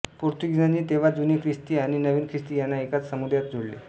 पोर्तुगीजांनी तेव्हा जुने ख्रिस्ती आणि नवीन ख्रिस्ती यांना एकाच समुदायात जोडले